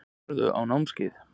Farðu á námskeið.